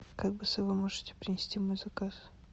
как быстро вы можете принести мой заказ